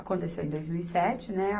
Aconteceu em dois mil e sete, né?